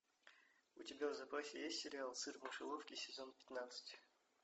у тебя в запасе есть сериал сыр в мышеловке сезон пятнадцать